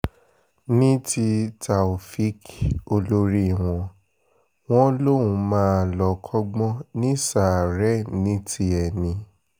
ní ti taofeek olórí wọn wọn lòún máa lọ́ọ́ kọ́gbọ́n ní ṣàárẹ̀ ní tiẹ̀ ni